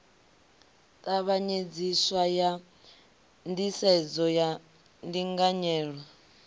tavhanyedziswa ha nḓisedzo ya ndinganyelo